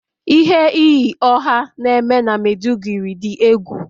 Ihe iyi ọh na eme na Maiduguri dị egwu